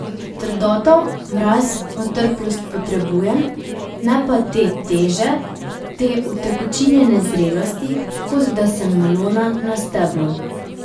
Trdoto, mraz, otrplost potrebujem, ne pa te teže, te utekočinjene zrelosti, kot da sem melona na steblu.